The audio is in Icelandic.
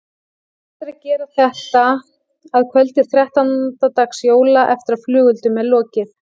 Best er að gera þetta að kvöldi þrettánda dags jóla eftir að flugeldum er lokið.